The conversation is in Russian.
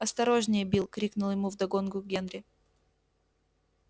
осторожнее билл крикнул ему вдогонку генри